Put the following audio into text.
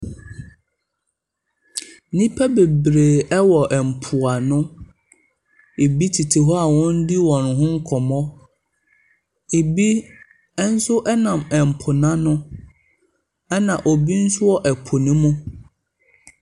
Nnipa bebree wɔ mpoano. Ɛbi tete hɔ a wɔredi wɔn ho nkɔmmɔ. Ɛbi nso nam po no ano, ɛna obi nso wɔ po no mu.